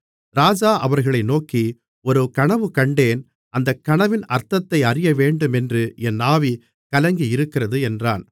ராஜா அவர்களை நோக்கி ஒரு கனவு கண்டேன் அந்தக் கனவின் அர்த்தத்தை அறியவேண்டுமென்று என் ஆவி கலங்கியிருக்கிறது என்றான்